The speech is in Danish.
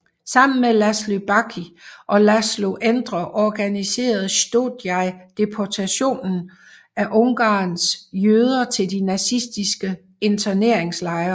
Sammen med László Baky og László Endre organiserede Sztójay deportationen af Ungarns jøder til de nazistiske interneringslejer